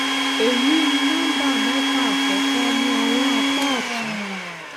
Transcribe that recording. èyí ni nọmbà mẹfà àkọkọ ní ọwọn apá òtún